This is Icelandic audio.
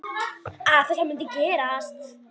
Að þetta mundi gerast.